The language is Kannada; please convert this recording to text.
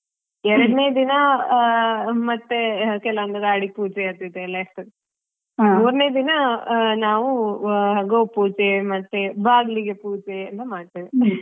ಎರಡ್ನೆೇ ದಿನ ಮತ್ತೇ ಕೆಲವೊಂದು ಗಾಡಿ ಪೂಜೆ ಅದು ಇದೆಲ್ಲಾ ಇರ್ತದೆ ಮೂರನೇ ದಿನ ನಾವು ಗೋಪೂಜೆ ಮತ್ತೆ ಬಾಗ್ಲಿಗೆ ಪೂಜೆ ಎಲ್ಲಾ ಮಾಡ್ತೇವೆ.